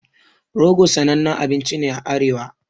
Rogo sanannen abinci ne a arewa